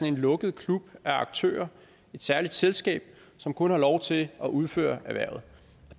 en lukket klub af aktører et særligt selskab som kun har lov til at udføre erhvervet